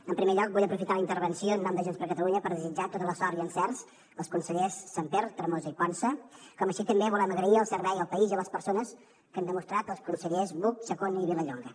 en primer lloc vull aprofitar la intervenció en nom de junts per catalunya per desitjar tota la sort i encerts als consellers sàmper tremosa i ponsa com així també volem agrair el servei al país i a les persones que han demostrat els consellers buch chacón i vilallonga